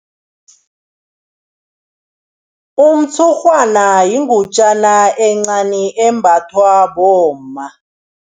Umtshurhwana yingutjana encani embathwa bomma.